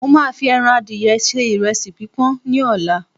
mo ma fi eran adìye se iresi pipọn ni ọlá